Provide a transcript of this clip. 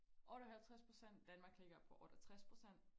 otteoghalvtres procent Danmark ligger på otteogtres procent